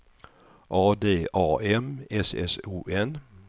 A D A M S S O N